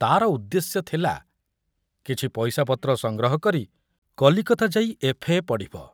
ତାର ଉଦ୍ଦେଶ୍ୟ ଥିଲା କିଛି ପଇସାପତ୍ର ସଂଗ୍ରହ କରି କଲିକତା ଯାଇ ଏଫ୍.ଏ. ପଢ଼ିବ